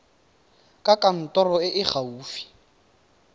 kwa kantorong e e gaufi